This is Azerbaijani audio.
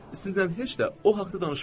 Sizlə heç də o haqda danışmıram.